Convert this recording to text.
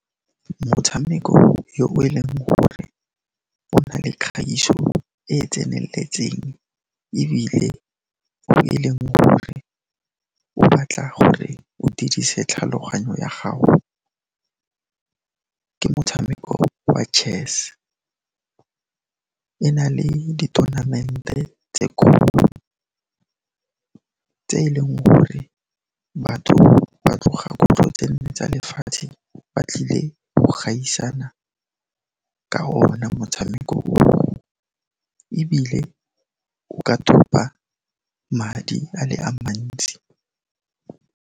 Motshameko yo e leng gore o na le kgaiso e e tsenelletseng, ebile e leng gore go batla gore o dirise tlhaloganyo ya gago, ke motshameko wa chess. E na le di-tournament-e tse kgolo, tse e leng gore batho ba tloga kgutlo tse nne tsa lefatshe, ba tlile go gaisana ka ona motshameko o, ebile o ka thopa madi a le a mantsi.